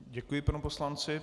Děkuji panu poslanci.